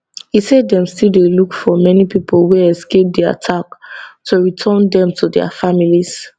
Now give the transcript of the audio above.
e say dem still dey look for many pipo wey escape di attack to return dem to dia families